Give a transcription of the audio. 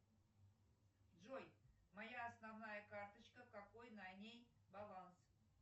джой моя основная карточка какой на ней баланс